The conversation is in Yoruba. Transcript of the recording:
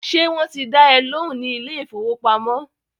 Ṣé wọ́n ti dá ẹ lóhùn ní ilé ìfọwọ́pamo?